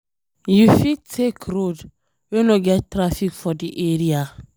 You fit take road wey no get traffic for di area